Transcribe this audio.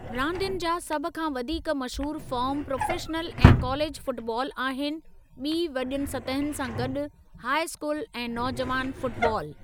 रांदियुनि जा सभ खां वधीक मशहूरु फ़ार्म प्रोफ़ेशनल ऐं कालेजु फ़ुटबालु आहिनि ॿी वॾियुनि सतहुनि सां गॾु हाइ स्कूल ऐं नौजुवान फ़ुटबालु।